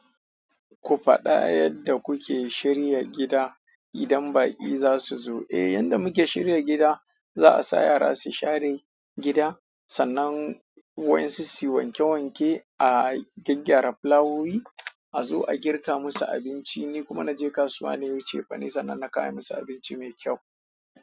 Ku faɗa yadda kuke shirya gida idan baƙi za su zo. Eh, yadda muke shirya gida, za a sa yara su share gida sannan wayensu su wanke wanke a gyaggyara fulawowi, a zo a girka musu abinci. Ni kuma na je kasuwa na yi cefane sannan na kawo ayi musu abinci mai kyau.